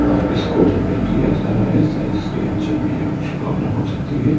और इसको रिपेयर किया जा रहा है शायद इसके इंजन में ये कुछ प्रॉब्लम हो सकती है।